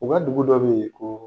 U ka dugu dɔ be ye koo